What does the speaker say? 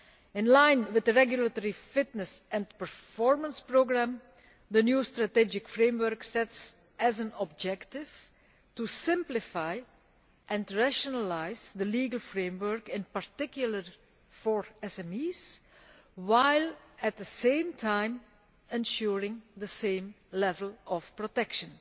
In line with the Regulatory Fitness and Performance programme, the new strategic framework sets as an objective simplifying and rationalising the legal framework, in particular for SMEs, while at the same time ensuring the same level of protection.